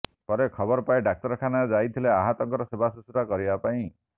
ପରେ ଖବର ପାଇ ଡାକ୍ତରଖାନା ଯାଇଥିଲେ ଆହତଙ୍କର ସେବା ଶୁଶ୍ରୁଷା କରିବା ପାଇଁ